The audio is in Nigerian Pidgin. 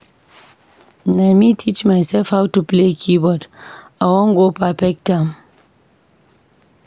Na me teach mysef how to play keyboard, I wan go perfect am.